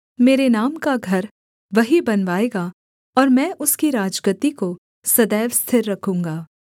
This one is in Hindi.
मेरे नाम का घर वही बनवाएगा और मैं उसकी राजगद्दी को सदैव स्थिर रखूँगा